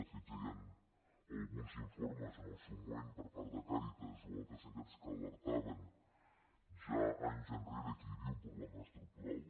de fet ja hi han alguns informes en el seu moment per part de càritas o altres entitats que alertaven ja anys enrere que hi havia un problema estructural